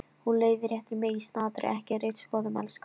Hún leiðréttir mig í snatri: Ekki ritskoðun, elskan.